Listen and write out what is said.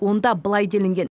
онда былай делінген